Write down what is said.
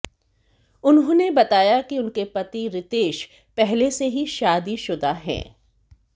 उन्होंने बताया कि उनके पति रितेश पहले से ही शादीशुदा हैं